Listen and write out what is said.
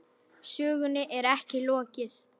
Sögunni er ekki lokið.